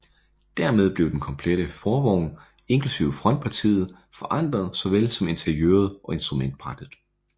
Dermed blev den komplette forvogn inklusiv frontpartiet forandret såvel som interiøret og instrumentbrættet